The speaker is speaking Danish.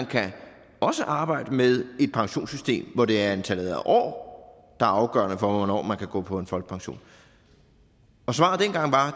kan arbejde med et pensionssystem hvor det er antallet af år der er afgørende for hvornår man kan gå på folkepension og svaret dengang var